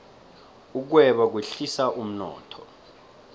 ukweba kwehlisa umnotho